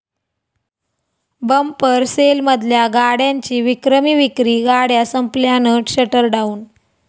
bumper सेलमधल्या गाड्यांची विक्रमी विक्री, गाड्या संपल्यानं 'शटरडाऊन'